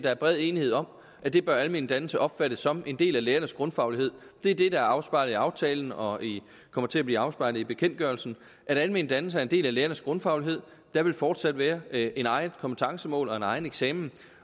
er bred enighed om at det bør almen dannelse opfattes som nemlig en del af lærernes grundfaglighed det er det der er afspejlet i aftalen og kommer til at blive afspejlet i bekendtgørelsen at almen dannelse er en del af lærernes grundfaglighed der vil fortsat være et eget kompetencemål og en egen eksamen